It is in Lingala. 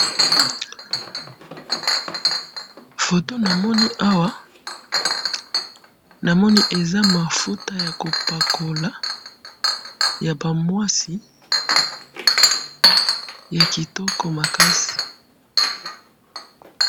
Foto namoni awa, namoni eza mafuta yakopakola, yabamwasi, yakitoko masi